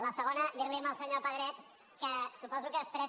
la segona dir li al senyor pedret que suposo que després